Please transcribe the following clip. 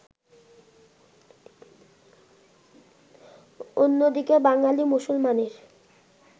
অন্যদিকে বাঙালি মুসলমানের